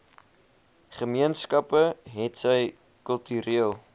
gemeenskappe hetsy kultureel